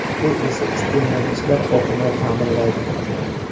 Bu esa iste’molchilar oqimini ta’minlaydi.